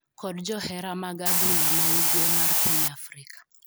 kod johera mag adhula ma ugwe mar piny Afrika